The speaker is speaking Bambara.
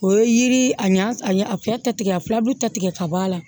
O ye yiri a ɲa a ɲe a fɛrɛ ta tigɛ a filabulu ta tigɛ ka bɔ a la